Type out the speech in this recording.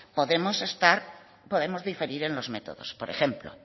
podemos diferir en los métodos por ejemplo